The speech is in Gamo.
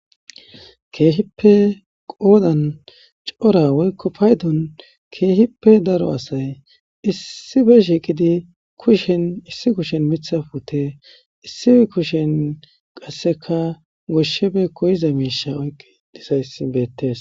Keehippe qoodan cora woykko paydun keehippe daro asay issife shiiqidi kushen issi kushen mitha pute issi kushen qasseka goshshebe koyiza miisha oyqe disayssi beettees.